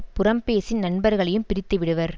புறம்பேசி நண்பர்களையும் பிரித்து விடுவர்